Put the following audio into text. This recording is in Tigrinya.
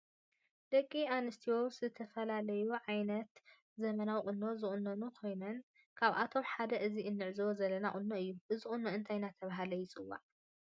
ደቂ አንስትዮ ዝተፈላለዩ ዓይነታት ዘመናዊ ቁኖ ዝቁነና ኮይነን ካብአቶም ሓደ አዚ እንዕዞቦ ዘለና ቁኖ እዩ ።እዚ ቁኖ እንታይ እናተብህለ ይፀዋዕ?